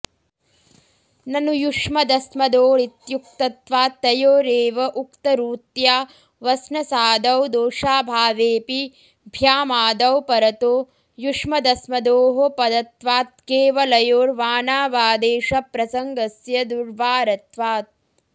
ननु युष्मदस्मदोरित्युक्तत्वात्तयोरेव उक्तरूत्या वस्नसादौ दोषाऽभावेऽपि भ्यामादौ परतो युष्मदस्मदोः पदत्वात्केवलयोर्वानावादेशप्रसङ्गस्य दुर्वारत्वात्